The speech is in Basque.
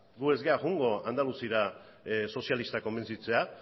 gu ez gara joango andaluziara sozialistak konbentzitzera